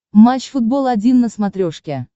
матч футбол один на смотрешке